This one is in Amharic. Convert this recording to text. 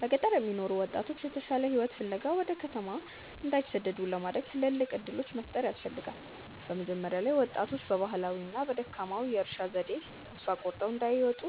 በገጠር የሚኖሩ ወጣቶች የተሻለ ሕይወት ፍለጋ ወደ ከተማ እንዳይሰደዱ ለማድረግ ትልልቅ ዕድሎች መፍጠር ያስፈልጋ። መጀመሪያ ላይ ወጣቶች በባህላዊውና በደካማው የእርሻ ዘዴ ተስፋ ቆርጠው እንዳይወጡ